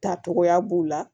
Tacogoya b'u la